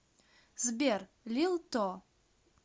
сбер лил то